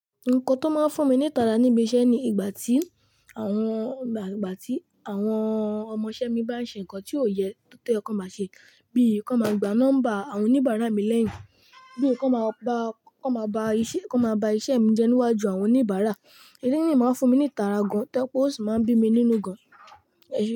Nǹkan tó máa ń fún mi ní ìtara níbi iṣẹ́ ni ìgbà tí àwọn, ìgbà tí àwọn ọmọṣẹ́ mi bá ń ṣe nnkan tí ó yẹ kó má ṣe, bí i kó máa gba nọ́mbà àwọn oníbàárà mi lẹ́yìn, bí i kó máa ba, kó máa ba iṣẹ́, kó máa ba iṣẹ́ mi jẹ níwájú àwọn oníbàárà. Eleyii máa ń fún mi ní ìtara gan-an to je pe ó sì máa ń bí mi nínú gan-an.